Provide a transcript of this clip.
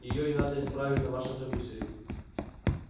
её и надо исправить на вашем компьютере